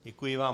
Děkuji vám.